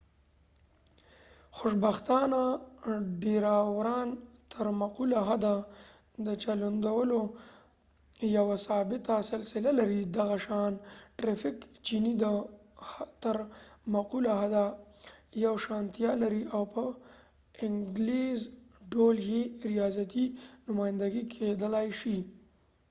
خوشبختانه ډېراوران تر مقوله حده د چلندونو یوه ثابته سلسله لري دغه شان د ټرېفک چېنې د تر مقوله حده یوشانتیا لري او په اټکلیز ډول يې ریاضیاتي نمایندګي کېدلای شي